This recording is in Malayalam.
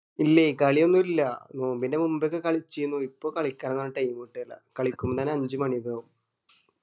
ഇല്ലയ് കളിയൊന്നു ഇല്ല നോമ്പിന്റെ മുമ്പൊക്കെ കളിച്ചിരുന്നു ഇപ്പൊ കളിക്കാനിള്ള time കിട്ട്ഏല് കളിക്കുമ്പോ തന്നെ അഞ്ച് മാണി ഒക്കെ ആവും